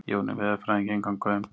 Jóni veðurfræðingi engan gaum.